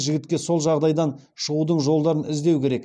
жігітке сол жағдайдан шығудың жолдарын іздеу керек